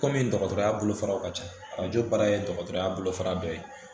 Kɔmi dɔgɔtɔrɔya bolofararaw ka ca arajo baara ye dɔgɔtɔrɔya bolofara dɔ ye